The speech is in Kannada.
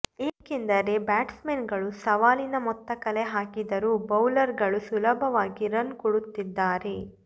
ಏಕೆಂದರೆ ಬ್ಯಾಟ್ಸ್ಮನ್ಗಳು ಸವಾ ಲಿನ ಮೊತ್ತ ಕಲೆ ಹಾಕಿದರೂ ಬೌಲರ್ ಗಳು ಸುಲಭವಾಗಿ ರನ್ ಕೊಡುತ್ತಿದ್ದಾರೆ